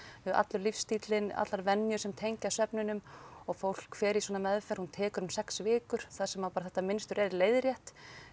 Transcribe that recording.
allur lífsstíllinn allar venjur sem tengjast svefninum og fólk fer í svona meðferð hún tekur um sex vikur þar sem að bara þetta mynstur er leiðrétt